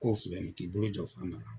K'o filɛ nin ye k'i bolo jɔ fana na.